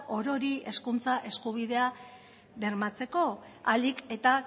orori hezkuntza eskubidea bermatzeko ahalik eta